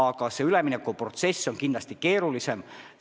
Aga see üleminekuprotsess on kindlasti keerulisem.